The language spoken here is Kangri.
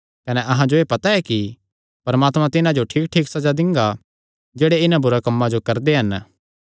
कने अहां जो एह़ पता ऐ कि परमात्मा तिन्हां जो ठीकठीक सज़ा दिंगा जेह्ड़े इन्हां बुरे कम्मां जो करदे हन